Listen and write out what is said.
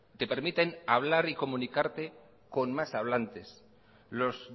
te permiten hablar y comunicarte con más hablantes los